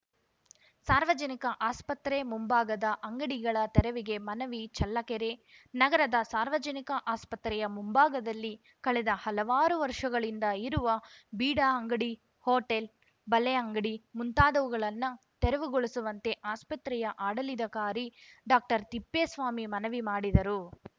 ಸಾರ್ವಜನಿಕ ಆಸ್ಪತ್ರೆ ಮುಂಭಾಗದ ಅಂಗಡಿಗಳ ತೆರವಿಗೆ ಮನವಿ ಚಳ್ಳಕೆರೆ ನಗರದ ಸಾರ್ವಜನಿಕ ಆಸ್ಪತ್ರೆಯ ಮುಂಭಾಗದಲ್ಲಿ ಕಳೆದ ಹಲವಾರು ವರ್ಷಗಳಿಂದ ಇರುವ ಬೀಡಾ ಅಂಗಡಿ ಹೋಟೆಲ್‌ ಬಳೆ ಅಂಗಡಿ ಮುಂತಾದವುಗಳನ್ನ ತೆರವುಗೊಳಿಸುವಂತೆ ಆಸ್ಪತ್ರೆಯ ಆಡಳಿದಾಕಾರಿ ಡಾಕ್ಟರ್ತಿಪ್ಪೇಸ್ವಾಮಿ ಮನವಿ ಮಾಡಿದರು